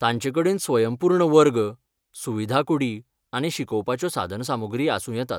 तांचेकडेन स्वयंपूर्ण वर्ग, सुविधा कूडी आनी शिकोवपाच्यो साधनसामुग्री आसूं येतात.